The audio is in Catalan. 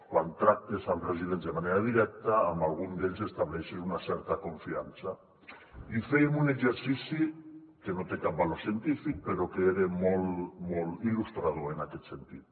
quan tractes amb residents de manera directa amb algun d’ells estableixes una certa confiança i fèiem un exercici que no té cap valor científic però que era molt il·lustrador en aquest sentit